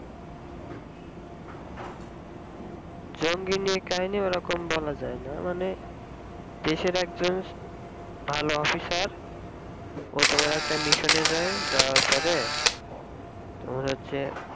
জঙ্গি নিয়ে কাহিনি ওরকম বলা যাই না মানে দেশের একজন ভালো officer অতো বড়ো একটা mission এ যায়